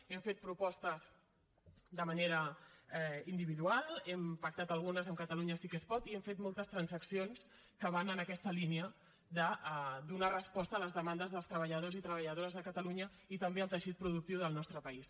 hem fet propostes de manera individual n’hem pactat algunes amb catalunya sí que es pot i hem fet moltes transaccions que van en aquesta línia de donar resposta a les demandes dels treballadors i treballadores de catalunya i també al teixit productiu del nostre país